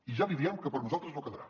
i ja li diem que per nosaltres no quedarà